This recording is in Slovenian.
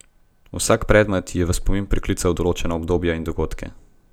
Vsak predmet ji je v spomin priklical določena obdobja in dogodke.